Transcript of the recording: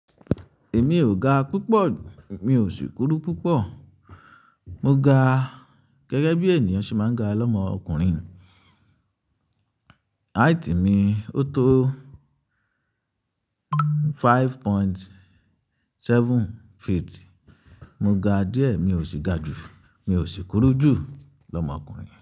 Èmi ò ga púpọ̀, mi ò sì kúrú púpọ̀. Mo ga gẹ́gẹ́ bí ènìyàn ṣe máa ń ga lọ́mọ ọkùnrin. Height mi ó tó five point seven feet. Mo ga díẹ̀, mi ò sì ga jù, mi ò sì kúrú jù lọ́mọ ọkùnrin.